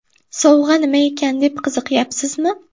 Sovg‘a nima ekan deb qiziqyapsizmi?